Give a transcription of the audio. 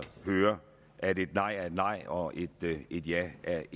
hører at et nej er et nej og et ja er